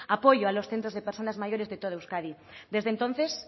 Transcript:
apoyo a los centros de personas mayores de toda euskadi desde entonces